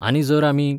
आनी जर आमी